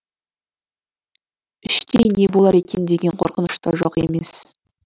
іштей не болар екен деген қорқыныш та жоқ емес